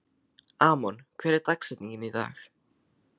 Amon, hver er dagsetningin í dag?